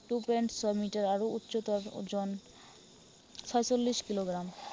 Two point seven metre আৰু উচ্চতাৰ ওজন ছয়চল্লিশ কিলোগ্ৰাম।